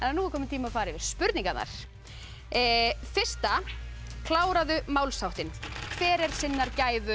nú er kominn tími að fara yfir spurningarnar fyrsta kláraðu málsháttinn hver er sinnar gæfu